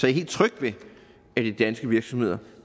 er helt tryg ved at de danske virksomheder